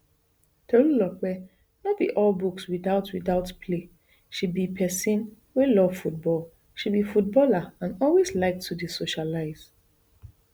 tolulolpe no be all books without without play she be pesin wey love football she be footballer and always like to dey socialise